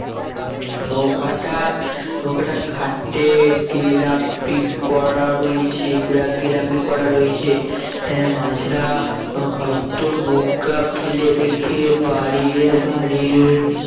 নৌকাটা নৌকাটা ঘাটে গেরাপি করা রয়েছে গেরাপি করা রয়েছে আহ মাঝিরা হয়ত নৌকা ফেলে রেখে বাড়ির বাড়ির